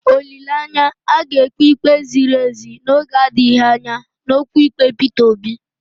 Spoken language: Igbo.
Olileanya, a ga-ekpe ikpe ziri ezi n'oge adịghị anya n'okwu ikpe Peter Obi.